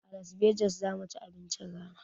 A las vegas zamuci abincin rana